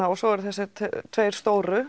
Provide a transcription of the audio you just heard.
og svo eru þessir tveir stóru